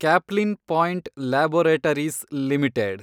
Caplin Point laboratories limited